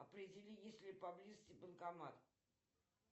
определи есть ли поблизости банкомат